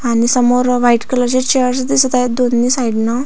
आणि समोर white colour च्या चेअर्स दिसत आहेत दोन्ही साईडन --